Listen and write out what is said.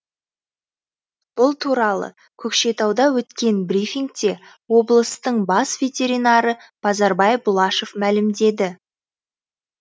бұл туралы көкшетауда өткен брифингте облыстың бас ветеринары базарбай бұлашев мәлімдеді